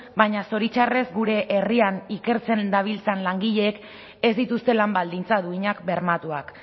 baina zoritxarrez gure herrian ikertzen dabiltzan langileek ez dituzte lan baldintza duinak bermatuak